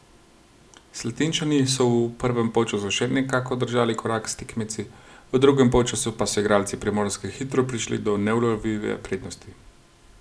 Slatinčani so v prvem polčasu še nekako držali korak s tekmeci, v drugem polčasu pa so igralci Primorske hitro prišli do neulovljive prednosti.